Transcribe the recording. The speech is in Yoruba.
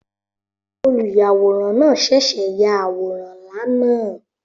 Olùyàwòrán náà ṣẹ̀ṣẹ̀ ya àwòrán ńlá náà